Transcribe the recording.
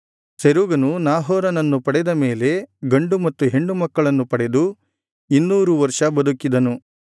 ಸೆರೂಗನು ನಾಹೋರನನ್ನು ಪಡೆದ ಮೇಲೆ ಗಂಡು ಮತ್ತು ಹೆಣ್ಣು ಮಕ್ಕಳನ್ನು ಪಡೆದು ಇನ್ನೂರು ವರ್ಷ ಬದುಕಿದನು